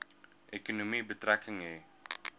ekonomie betrekking hê